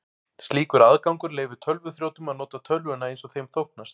Slíkur aðgangur leyfir tölvuþrjótum að nota tölvuna eins þeim þóknast.